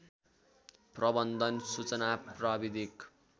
प्रबन्धन सूचना प्राविधिक